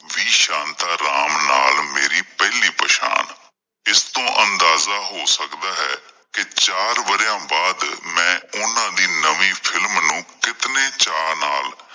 ਸ਼ਾਂਤਾ ਰਾਮ ਨਾਲ ਮੇਰੀ ਪਹਿਲੀ ਪਹਿਚਾਣ, ਜਿਸਤੋਂ ਅੰਦਾਜ਼ਾ ਹੋ ਸਕਦਾ ਹੈ ਕੀ ਚਾਰ ਵਰਿਆਂ ਬਾਅਦ ਮੈਂ ਓਹਨਾਂ ਦੀ ਨਵੀਂ ਫਿਲਮ ਨੂੰ ਕਿਤਨੇ ਚਾ ਨਾਲ